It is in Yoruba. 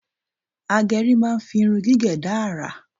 Agẹrí máa ń fi irun gígẹ̀ dá àrà